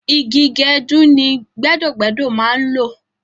Igi gẹdú ni gbẹ́dọ́-gbẹ́dọ́ máa ń lò